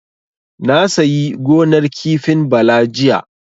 Na sayi gonar kifin Bala jiya.